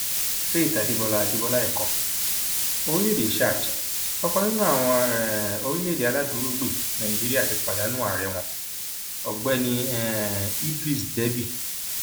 faith adébọlá adébọlá ẹkọ orílẹèdè chad ọkan nínú àwọn um orílẹèdè aláàdúrógbè nàíjíríà ti pàdánù ààrẹ wọn ọgbẹni um idriss deby